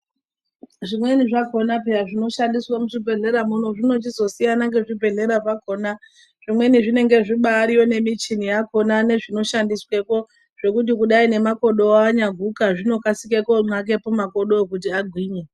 Zvimweni zvakhona pheya zvinoshandiswa muzvibhehlera muno zvinochizosiyana ngezvibhedhlera zvakhona zvimweni zvinenge zvibariyo ngemichini yakhona nezvinoshandiswepo zvekuti kudai nemakodowo anyaguka zvinokasike konxake pamakodowo kuti agwinye.